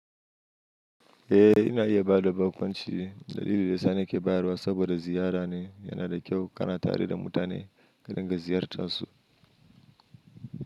Eh, ina iya ba da baƙunci dalilin da sani ke bayarwa saboda ziyara ne yana da kyau ka na tare da mutane ka dinga ziyartar su.